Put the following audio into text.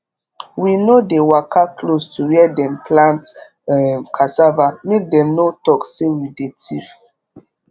we no dey waka close to where dem plant um cassava make dem no talk say we dey thief